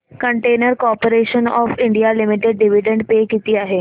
container corporation of India limited dividend pay किती आहे